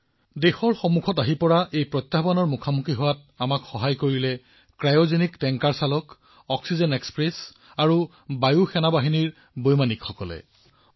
দেশখনে সন্মুখীন হোৱা এই প্ৰত্যাহ্বানত ক্ৰায়জেনিক টেংকাৰৰ চালক অক্সিজেন এক্সপ্ৰেছৰ চালক বায়ু সেনাৰ পাইলটসকলে দেশখনক সহায় কৰিছিল